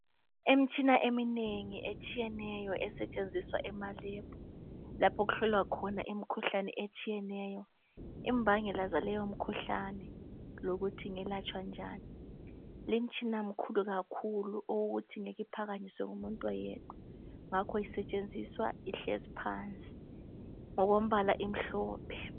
imitshina eminengi esthiyeneyo esetshenziswa ema lab lapho okuhlolwa khona imikhuhlane etshiyeneyo imbangela zaleyo mikhuhlane lokuthi ingelatshwa njani limtshina mikhulu kakhulu okokuthithi ngeke iphakanyiswe ngumuntu oyedwa ngakho isetshenziswa ihlezi phansi ngokombala omhlophe